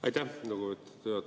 Aitäh, lugupeetud juhataja!